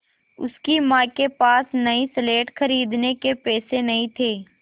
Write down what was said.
उसकी माँ के पास नई स्लेट खरीदने के पैसे नहीं थे